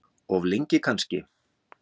Of lengi kannski.